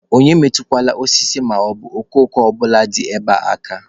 Onye emetụkwala osisi maọbụ okooko ọbụla dị ebe a aka!